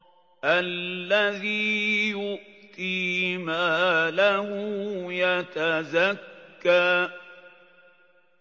الَّذِي يُؤْتِي مَالَهُ يَتَزَكَّىٰ